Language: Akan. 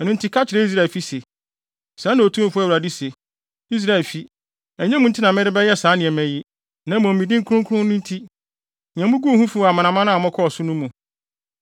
“Ɛno nti, ka kyerɛ Israelfi se, ‘Sɛɛ na Otumfo Awurade se: Israelfi, ɛnyɛ mo nti na merebɛyɛ saa nneɛma yi, na mmom me din kronkron no nti, nea muguu ho fi wɔ amanaman a mokɔɔ so mu no.